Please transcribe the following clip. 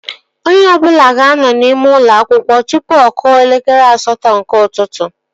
Onye ọbụla ga-anọ n'ime ụlọ akwụkwọ tụpụ ọ kụọ elekere asatọ nke ụtụtụ